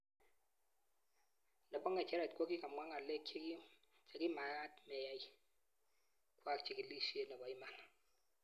Nepo ng'echeret kokimwaa ng'aleek chekimakat meyai kwaak chigilisheet nepo iman